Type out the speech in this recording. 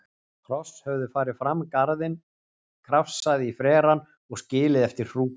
Hross höfðu farið um garðinn, krafsað í frerann og skilið eftir hrúkur.